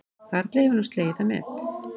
Karl hefur nú slegið það met